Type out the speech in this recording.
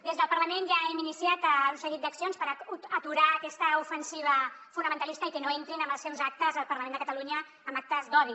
des del parlament ja hem iniciat un seguit d’accions per aturar aquesta ofensiva fonamentalista i que no entrin amb els seus actes al parlament de catalunya amb actes d’odi